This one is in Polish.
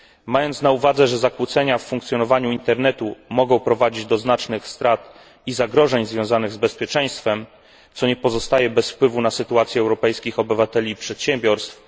Należy również pamiętać, że zakłócenia w funkcjonowaniu internetu mogą prowadzić do znacznych strat i zagrożeń związanych z bezpieczeństwem, co nie pozostaje bez wpływu na sytuację europejskich obywateli i przedsiębiorstw.